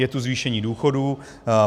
Je tu zvýšení důchodů.